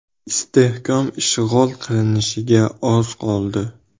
Istehkom ishg‘ol qilinishiga oz qoldi.